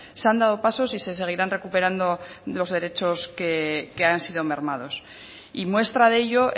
se han dado pasos y se seguirán recuperando los derechos que han sido mermados y muestra de ello